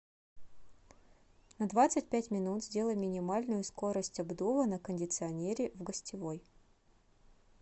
на двадцать пять минут сделай минимальную скорость обдува на кондиционере в гостевой